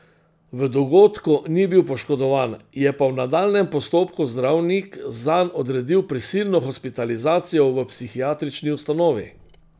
V dogodku ni bil poškodovan, je pa v nadaljnjem postopku zdravnik zanj odredil prisilno hospitalizacijo v psihiatrični ustanovi.